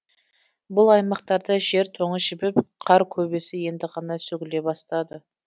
бұл аймақтарда жер тоңы жібіп қар көбесі енді ғана сөгіле бастады